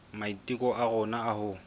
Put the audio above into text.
maiteko a rona a ho